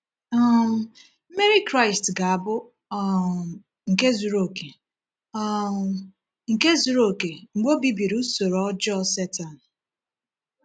um Mmeri Kraịst ga-abụ um nke zuru um nke zuru oke mgbe Ọ bibiri usoro ọjọọ Setan.